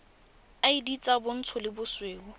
id tsa bontsho le bosweu